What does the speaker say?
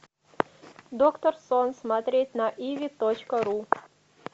доктор сон смотреть на иви точка ру